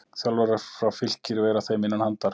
Þjálfarar frá Fylkir vera þeim innan handar.